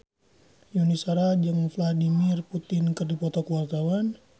Yuni Shara jeung Vladimir Putin keur dipoto ku wartawan